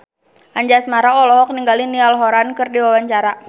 Anjasmara olohok ningali Niall Horran keur diwawancara